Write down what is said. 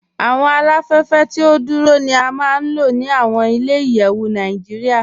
Awọn aláfẹ̀fẹ̀ tí o dúró ni à máa n lọ ni awọn ilẹ̀-ìyẹ̀wù Naijíríà.